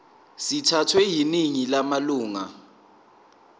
sithathwe yiningi lamalunga